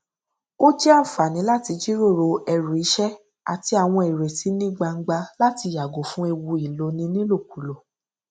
ó jẹ ànfààní láti jíròrò ẹrù iṣẹ àti àwọn ìrètí ní gbangba láti yàgò fún ewu ìloni nílòkulò